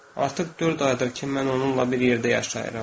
Artıq dörd aydır ki, mən onunla bir yerdə yaşayıram.